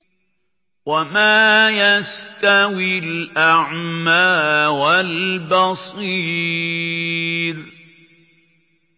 وَمَا يَسْتَوِي الْأَعْمَىٰ وَالْبَصِيرُ